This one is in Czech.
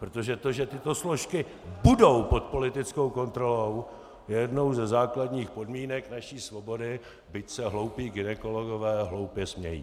Protože to, že tyto složky budou pod politickou kontrolou, je jednou ze základních podmínek naší svobody, byť se hloupí gynekologové hloupě smějí.